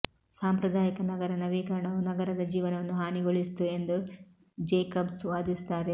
ಸಾಂಪ್ರದಾಯಿಕ ನಗರ ನವೀಕರಣವು ನಗರದ ಜೀವನವನ್ನು ಹಾನಿಗೊಳಿಸಿತು ಎಂದು ಜೇಕಬ್ಸ್ ವಾದಿಸುತ್ತಾರೆ